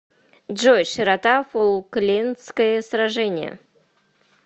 джой широта фолклендское сражение